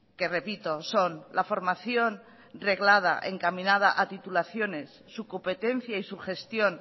que repito son la formación reglada encaminada a titulaciones su competencia y su gestión